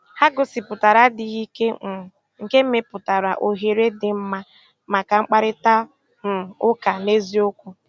Ha gòsíputàra àdì́ghị́ ìké, um nkè mepùtàra òhèrè dị́ mma maka mkpáịrịtà um ụ́ka n'ézìòkwù.